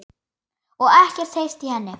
Og ekkert heyrt í henni?